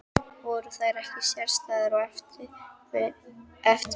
Voru þær ekki sérstæðar og eftirminnilegar?